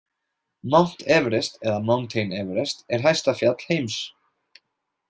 Mount Everest eða Mountain Everest er hæsta fjall heims.